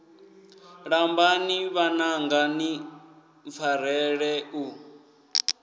lambani vhananga ni mpfarele u